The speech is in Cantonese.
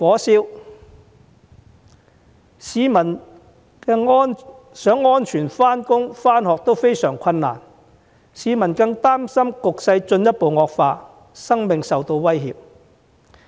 市民想安全上班上學也相當困難，更擔心若局勢進一步惡化，生命將會受到威脅。